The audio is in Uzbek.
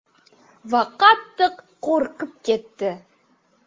Va qattiq qo‘rqib ketdi .